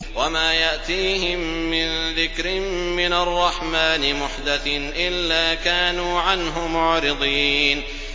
وَمَا يَأْتِيهِم مِّن ذِكْرٍ مِّنَ الرَّحْمَٰنِ مُحْدَثٍ إِلَّا كَانُوا عَنْهُ مُعْرِضِينَ